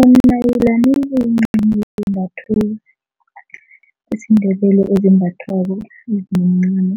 Umnayilani kumncamo IsiNdebele ezimbathwako mncamo